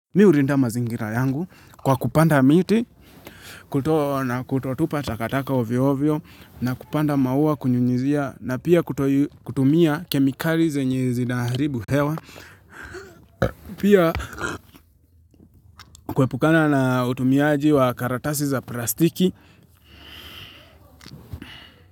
Mi urinda mazingira yangu kwa kupanda miti, kutotupa takataka ovyo ovyo na kupanda maua kunyunyuzia na pia kutotumia kemikali zenye zinaharibu hewa, pia kuepukana na utumiaji wa karatasi za plastiki.